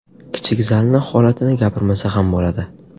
Kichik zalni holatini gapirmasa ham bo‘ladi.